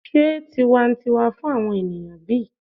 se tiwantiwa fun awon eniyan bi?